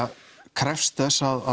krefst þess að